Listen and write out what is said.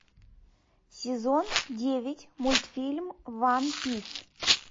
сезон девять мультфильм ван пис